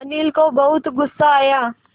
अनिल को बहुत गु़स्सा आया